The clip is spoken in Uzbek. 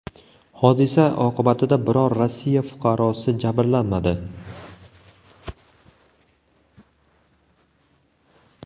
Hodisa oqibatida biror Rossiya fuqarosi jabrlanmadi.